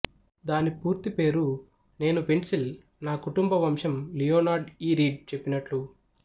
దాని పూర్తి పేరు నేను పెన్సిల్ నా కుటుంబ వంశం లియోనార్డ్ ఇ రీడ్ చెప్పినట్లు